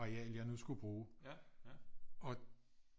Areal jeg nu skulle bruge og